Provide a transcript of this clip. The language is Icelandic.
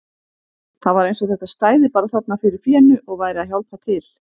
Það var eins og þetta stæði bara þarna fyrir fénu og væri að hjálpa til!